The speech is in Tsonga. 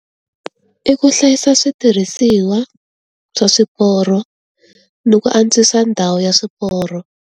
I ku hlayisa switirhisiwa, swa swiporo, ni ku antswisa ndhawu ya swiporo.